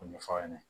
O ɲɛfɔ aw ɲɛna